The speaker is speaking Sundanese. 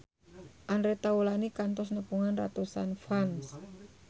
Andre Taulany kantos nepungan ratusan fans